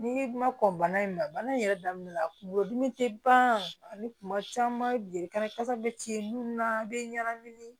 N'i ma kɔn bana in na bana in yɛrɛ daminɛ la kunkolo dimi te ban ani kuma caman jeli kasa bɛ ci munnu na bɛ ɲagami